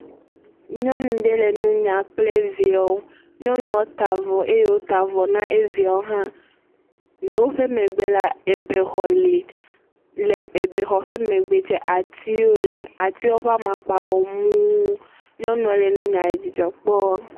Nyɔnu ɖe le nunya kple viawo. Nyɔnua ta bvɔ eye wòta vɔ na eviawo hã. Le woƒe megbe la ebexɔ le. Le ebexɔ ƒe megbe tsɛ atiwo le. Atiwo ƒe amakpa wɔ muu. Nyɔnua le nunyua le dzidzɔ kpɔɔ.